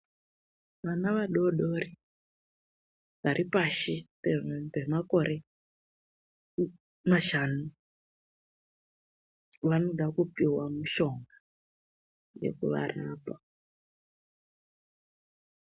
Vana vadodori varipashi pemakore mashanu vanofanira kuhinwa mitombo inovarapa.